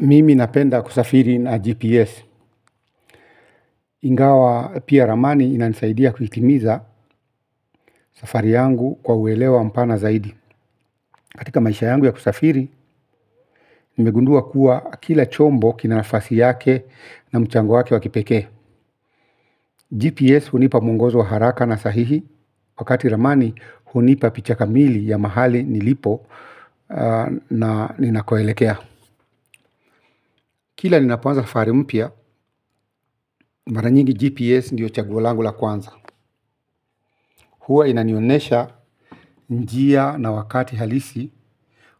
Mimi napenda kusafiri na GPS. Ingawa pia. Ramani inanisaidia kuitimiza safari yangu kwa uelewa mpana zaidi. Katika maisha yangu ya kusafiri, nimegundua kuwa kila chombo kina nafasi yake na mchango wake wa kipekee. GPS hunipa mwongozo wa haraka na sahihi, wakati ramani hunipa picha kamili ya mahali nilipo na ninakoelekea. Kila ninapoanza safari mpya, mara nyingi GPS ndiyo chaguo langu la kwanza. Huwa inanionesha njia na wakati halisi.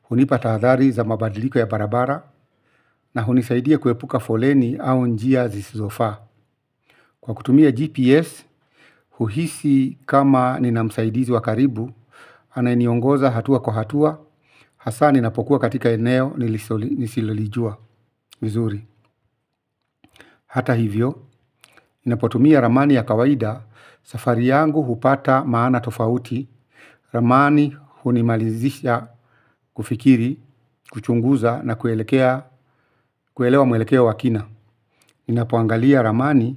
Hunipa tahadhari za mabadiliko ya barabara. Na hunisaidia kuepuka foleni au njia zisizofaa. Kwa kutumia GPS, huhisi kama nina msaidizi wa karibu. Anayeniongoza hatua kwa hatua. Hasa ninapokuwa katika eneo nilisilolijua hata hivyo, ninapotumia ramani ya kawaida safari yangu hupata maana tofauti. Ramani hunimalizisha kufikiri, kuchunguza na kuelewa mwelekeo wa kina ninapoangalia ramani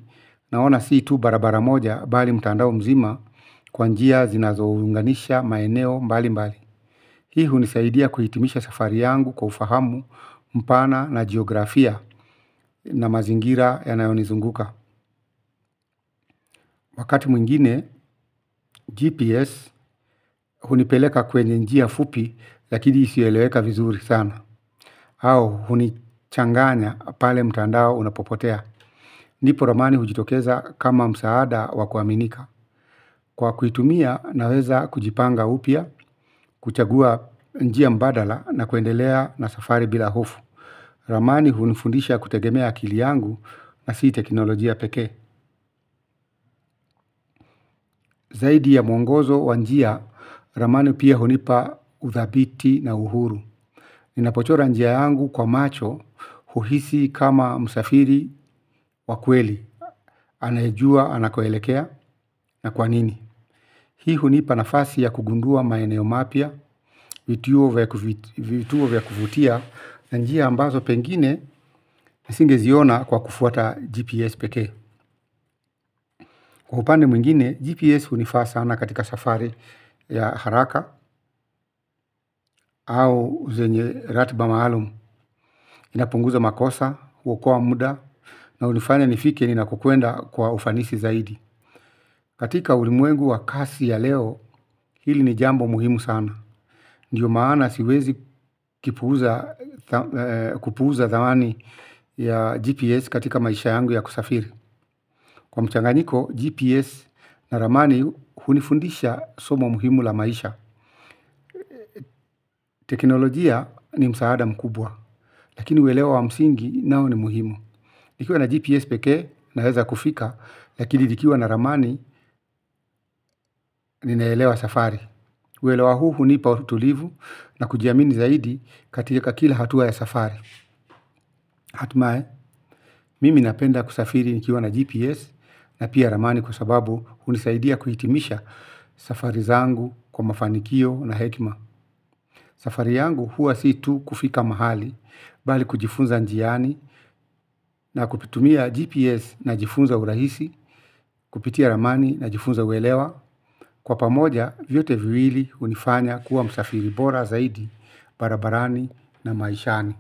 naona si tu barabara moja bali mtandao mzima kwa njia zinazounganisha maeneo mbali mbali. Hii hunisaidia kuhitimisha safari yangu kwa ufahamu mpana na geografia na mazingira yanayonizunguka. Wakati mwingine GPS hunipeleka kwenye njia fupi lakini isiyoeleweka vizuri sana. Au hunichanganya pale mtandao unapopotea. Ndipo ramani hujitokeza kama msaada wa kuaminika. Kwa kuitumia naweza kujipanga upya, kuchagua njia mbadala na kuendelea na safari bila hofu. Ramani hunifundisha kutegemea akili yangu na sii teknolojia pekee. Zaidi ya mwongozo wa njia, ramani pia hunipa uthabiti na uhuru. Ninapochora njia yangu kwa macho, huhisi kama msafiri wa kweli. Anayejua anakoelekea na kwa nini hii hunipa nafasi ya kugundua maeneo mapya. Vituo vya kuvutia na njia ambazo pengine nisingeziona kwa kufuata GPS pekee. Kwa upande mwingine GPS hunifaa sana katika safari ya haraka au zenye ratiba maalum. Inapunguza makosa, huokoa muda. Na hunifanya nifike ninakokwenda kwa ufanisi zaidi katika ulimwengu wa kasi ya leo hili ni jambo muhimu sana ndio maana siwezi kipuuza kupuuza thamani ya GPS katika maisha yangu ya kusafiri. Kwa mchanganyiko, GPS na ramani hunifundisha somo muhimu la maisha. Teknolojia ni msaada mkubwa, lakini uelewa wa msingi nao ni muhimu. Nikiwa na GPS pekee naeza kufika, lakini nikiwa na ramani ninaelewa safari. Uelewa huu hunipa utulivu na kujiamini zaidi katika kila hatua ya safari. Hatimae, mimi napenda kusafiri nikiwa na GPS na pia ramani kwa sababu hunisaidia kuhitimisha safari zangu kwa mafanikio na hekima. Safari yangu huwa si tu kufika mahali, bali kujifunza njiani na kuvitumia GPS najifunza urahisi, kupitia ramani najifunza uelewa. Kwa pamoja, vyote viwili hunifanya kuwa msafiri bora zaidi, barabarani na maishani.